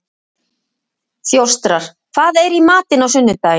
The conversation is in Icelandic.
Þjóstar, hvað er í matinn á sunnudaginn?